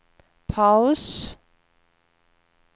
paus